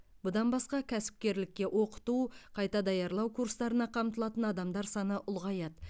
бұдан басқа кәсіпкерлікке оқыту қайта даярлау курстарына қамтылатын адамдар саны ұлғаяды